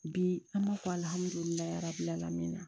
Bi an b'a fɔ na